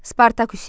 Spartak üsyanı.